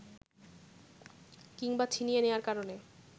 কিংবা ছিনিয়ে নেয়ার কারণে